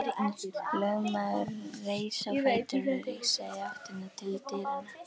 Lögmaðurinn reis á fætur og rigsaði í áttina til dyranna.